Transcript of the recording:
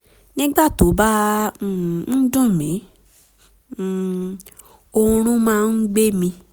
nígbà tó bá um ń dùn mí um oorun um máa ń gbẹ mí